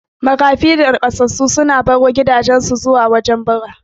Maƙafi da Naƙasassu sukan baro gidajan su zuwa cikin gari bara